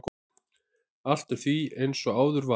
Allt er því eins og áður var.